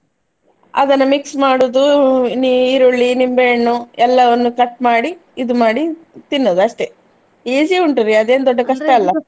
ಅದನ್ನ mix ಮಾಡುದು ನೀರುಳ್ಳಿ ನಿಂಬೆಹಣ್ಣು ಎಲ್ಲವನ್ನು cut ಮಾಡಿ ಇದು ಮಾಡಿ ತಿನ್ನುದು ಅಷ್ಟೇ, easy ಉಂಟು ರೀ ಅದೇನು ದೊಡ್ಡ .